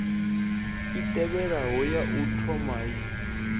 i tevhelaho ya u thomai